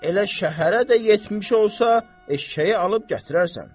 Elə şəhərə də yetmiş olsa, eşşəyi alıb gətirərsən.